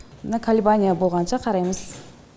мына колебание болғанша қараймыз